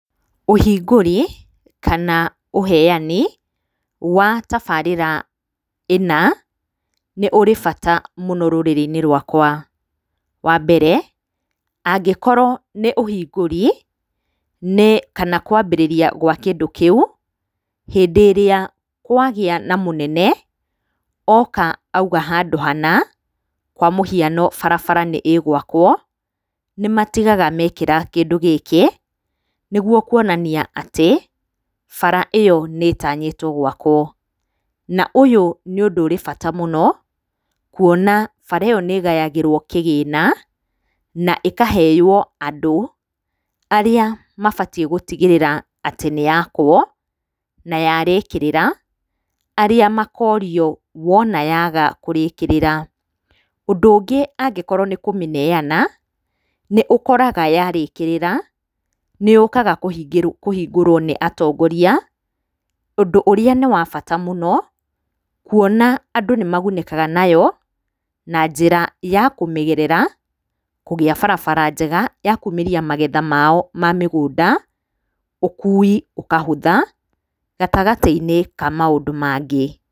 Ũhingũri kana ũheani wa tabarĩra ĩna, nĩ ũrĩ bata mũno rũrĩrĩ-inĩ rwakwa. Wa mbere angĩkorwo nĩ ũhingũri kana kwambĩrĩria gwa kĩndũ kĩu, hĩndĩ ĩrĩa kwagĩa na mũnene, oka auga handũ hana, kwa mũhiano barabara nĩ ĩgwakwo, níĩmatigaga mekĩra kĩndũ gĩkĩ, nĩguo kuonania atĩ, bara ĩyo nĩ ĩtanyĩtwo gwakwo. Na ũyũ nĩ ũndũ ũrĩ bata mũno kuona bara ĩyo nĩ ĩgayagĩrwo kĩgĩna, na ĩkaheo andũ arĩa mabatiĩ gũtigĩrĩra atĩ nĩ yakwo, na yarĩkĩrĩra, arĩa makorio wona yaga kũrĩrĩkĩrĩra. Ũndũ ũngĩ angĩkorwo nĩ kũmĩnenana, nĩ ũkoraga yarĩkĩrĩra, nĩ yũkaga kũhingũrwo nĩ atongoria, Úndũ ũrĩa nĩ wa bata mũno, kuona andũ nĩ magunĩkaga nayo, na njĩra ya kũmĩgerera, kũgĩa barabara njega ya kumĩria magetha mao ma mĩgũnda, ũkui ũkahũtha gatagatĩ-inĩ ka maũndũ mangĩ.